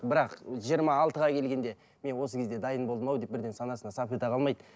бірақ жиырма алтыға келгенде мен осы кезде дайын болдым ау деп бірден санасына сап ете қалмайды